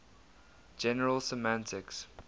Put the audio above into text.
general semantics